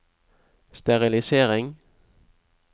sterilisering